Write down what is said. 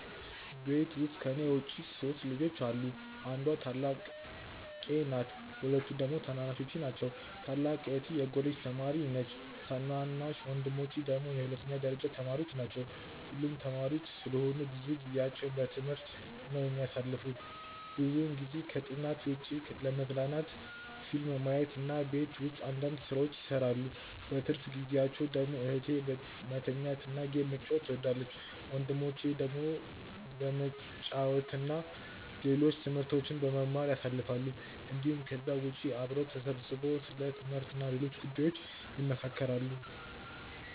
ቤት ውስጥ ከኔ ውጪ 3 ልጆች አሉ። አንዷ ታላቄ ናት ሁለቱ ደግሞ ታናናሾቼ ናቸው። ታላቅ እህቴ የኮሌጅ ተማሪ ነች ታናናሽ ወንድሞቼ ደግሞ የሁለተኛ ደረጃ ተማሪዎች ናቸው። ሁሉም ተማሪዎች ስለሆኑ ብዙ ጊዜአቸውን በትምህርት ነው የሚያሳልፉት። ብዙውን ጊዜ ከጥናት ውጪ ለመዝናናት ፊልም ማየት እና ቤት ውስጥ አንዳንድ ስራዎችን ይሰራሉ። በትርፍ ጊዜአቸው ደግሞ እህቴ መተኛት እና ጌም መጫወት ትወዳለች። ወንድሞቼ ደግሞ በመጫወት እና ሌሎች ትምህርቶችን በመማር ያሳልፋሉ እንዲሁም ከዛ ውጪ አብረው ተሰብስበው ስለ ትምህርት እና ሌሎች ጉዳዮች ይመካከራሉ።